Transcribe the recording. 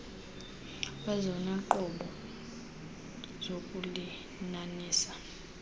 kwezona nqobo zokulinanisa